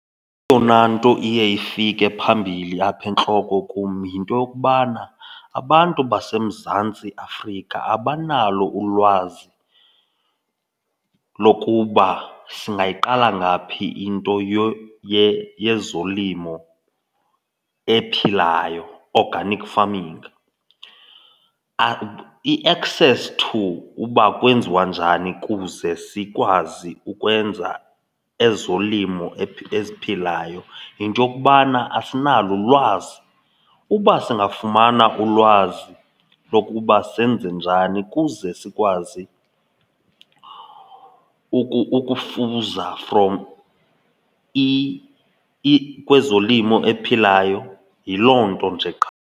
Eyona nto iye ifike phambili apha entloko kum yinto yokubana abantu baseMzantsi Afrika abanalo ulwazi lokuba singayiqala ngaphi into yezolimo ephilayo, organic farming, i-access to uba kwenziwa njani kuze sikwazi ukwenza ezolimo eziphilayo. Yinto yokubana asinalo ulwazi. Uba singafumana ulwazi lokuba senze njani kuze sikwazi ukufuza from kwezolimo ephilayo, yiloo nto nje qha.